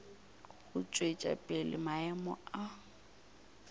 go tšwetša pele maemo a